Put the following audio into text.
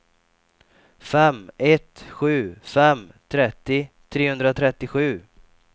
fem ett sju fem trettio trehundratrettiosju